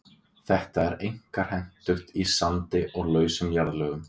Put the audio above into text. Þetta er einkar hentugt í sandi og lausum jarðlögum.